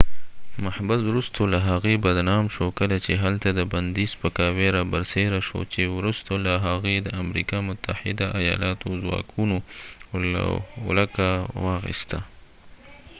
محبس وروسته له هغې بدنام شو کله چې هلته د بندي سپکاوي رابرسیره شو چې وروسته له هغې د امریکا متحده آیالاتو ځواکونو ولکه واخیسته